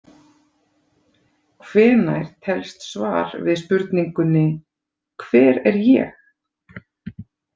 Hvenær telst svar við spurningunni „Hver er ég?“